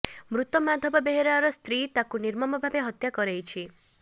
ମୃତ ମାଧବ ବେହେରାର ସ୍ତ୍ରୀ ତାକୁ ନିର୍ମମ ଭାବେ ହତ୍ୟା କରେଇଛି